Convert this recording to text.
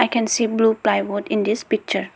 we can see blue plywood in this picture.